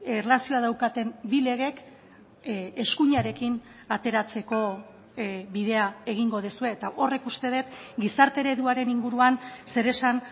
erlazioa daukaten bi legek eskuinarekin ateratzeko bidea egingo duzue eta horrek uste dut gizarte ereduaren inguruan zeresan